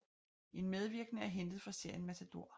En medvirkende er hentet fra serien Matador